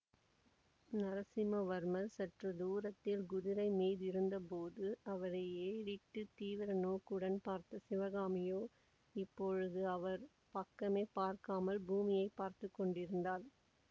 நரசிம்மவர்மர் சற்று தூரத்தில் குதிரைமீதிருந்தபோது அவரை ஏறிட்டுத் தீவிர நோக்குடன் பார்த்த சிவகாமியோ இப்பொழுது அவர் பக்கமே பார்க்காமல் பூமியை பார்த்து கொண்டிருந்தாள்